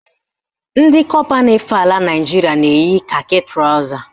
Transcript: Ndị kọpa na-efe ala Naịjiria na-eyi kakị trọza